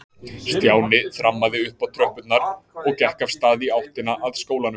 Stjáni þrammaði upp tröppurnar og gekk af stað í áttina að skólanum.